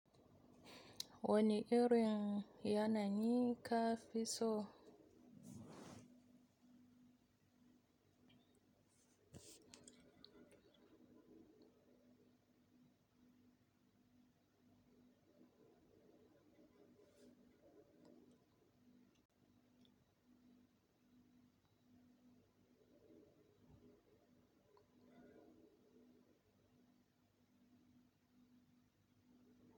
Wani irin yanayi ka fi so?